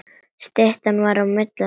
Styttan var á milli þeirra.